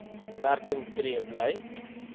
werking tree bly